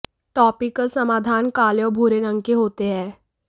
topical समाधान काले और भूरे रंग के होते हैं